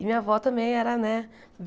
E minha avó também era, né?